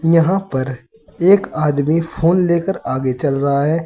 यहां पर एक आदमी फोन लेकर आगे चल रहा हैं।